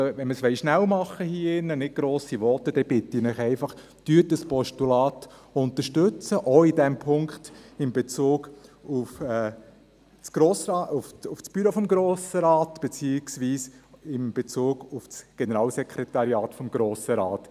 Wenn wir es hier schnell machen wollen, ohne grosse Voten, dann bitte ich Sie, dieses Postulat zu unterstützen – auch im Punkt in Bezug auf das Büro des Grossen Rats beziehungsweise in Bezug auf das Generalsekretariat des Grossen Rats.